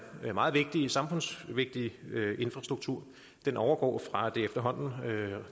meget samfundsvigtige infrastruktur overgår fra det efterhånden